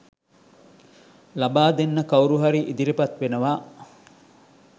ලබාදෙන්න කවුරු හරි ඉදිරිපත් වෙනවා